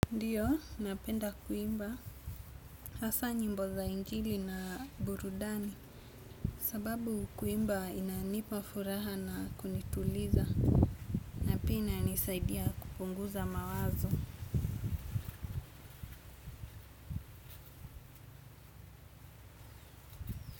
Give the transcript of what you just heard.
Ndio napenda kuimba hasa nyimbo za injili na burudani. Sababu kuimba inanipa furaha na kunituliza na pia inanisaidia kupunguza mawazo.